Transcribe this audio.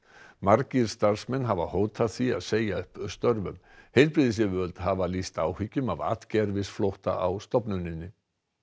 margir starfsmenn hafa hótað því að segja upp störfum heilbrigðisyfirvöld hafa lýst áhyggjum af atgervisflótta á stofnuninni